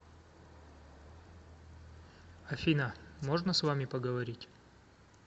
афина можно с вами поговорить